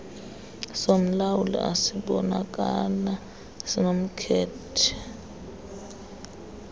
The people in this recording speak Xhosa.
somlawuli esibonakala sinomkhethe